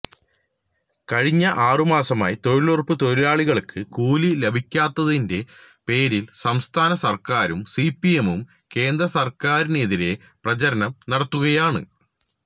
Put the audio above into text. കഴിഞ്ഞ ആറുമാസമായി തൊഴിലുറപ്പ് തൊഴിലാളികള്ക്ക് കൂലി ലഭിക്കാത്തതിന്റെ പേരില് സംസ്ഥാന സര്ക്കാരും സിപിഎമ്മും കേന്ദ്രസര്ക്കാരിനെതിരെ പ്രചാരണം നടത്തുകയാണ്